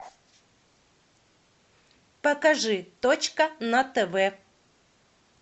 покажи точка на тв